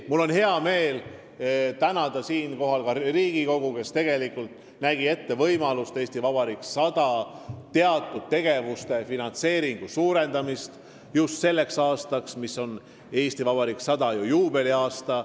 Mul on hea meel tänada siinkohal ka Riigikogu, kes võimaldas suurendada "Eesti Vabariik 100" teatud tegevuste finantseeringut just selleks aastaks, mis on ju Eesti Vabariigi juubeliaasta.